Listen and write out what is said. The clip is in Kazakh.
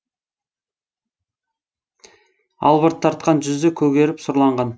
албырт тартқан жүзі көгеріп сұрланған